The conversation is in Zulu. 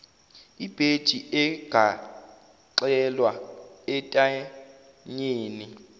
ibheji egaxelwa entanyeni